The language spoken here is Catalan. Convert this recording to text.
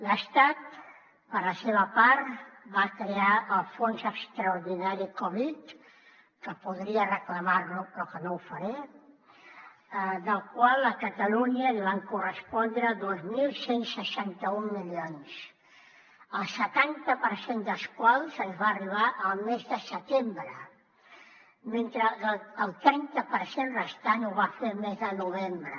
l’estat per la seva part va crear el fons extraordinari covid que podria reclamar lo però que no ho faré del qual a catalunya li van correspondre dos mil cent i seixanta un milions el setanta per cent dels quals ens va arribar el mes de setembre mentre que el trenta per cent restant ho va fer el mes de novembre